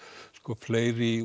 fleiri